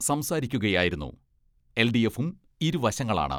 സംസാരിക്കുകയായിരുന്നു എൽ.ഡി.എഫും, ഇരുവശങ്ങളാണ്.